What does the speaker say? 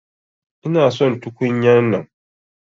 Ina son tukunya'nan.